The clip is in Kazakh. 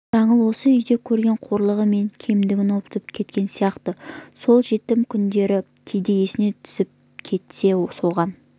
жаңыл осы үйден көрген қорлығы мен кемдігін ұмытып кеткен сияқты сол жетім күндері кейде есіне түсіп кетсе соған